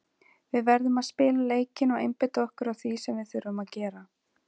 Við verðum að spila leikinn og einbeita okkur að því sem við þurfum að gera.